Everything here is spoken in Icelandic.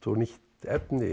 nýtt efni